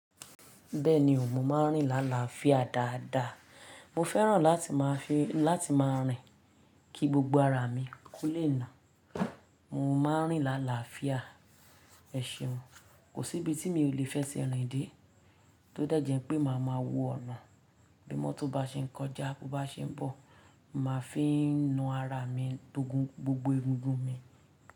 Bẹ́ẹ̀ni o, mo ma ń rin làálàáfíà dáadáa. Mo fẹ́ràn láti máa fi, láti máa rìn kí gbogbo ara mi ko lè nà. Mo ma ń rin làálàáfíà, ẹ̀ ṣeun, kò sí ibi tí mi ò lè fẹ́ ṣe rìn dé tó dẹ́ jẹ́ pé màá ma wó ọ̀nà. Bí mọ́tò bá ṣe ń kọjá, bó bá ṣe ń bọ̀, mo màá fi ń nu ara mi tó gun gbogbo egungun mi.